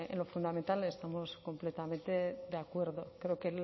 lo fundamental estamos completamente de acuerdo creo que